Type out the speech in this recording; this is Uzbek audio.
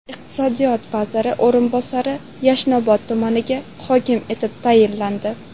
Iqtisodiyot vaziri o‘rinbosari Yashnobod tumaniga hokim etib tayinlandi.